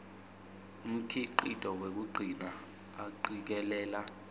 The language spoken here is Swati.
umkhicito wekugcina acikelela